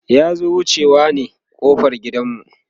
ya zo wucewa ne ƙofar gidan mu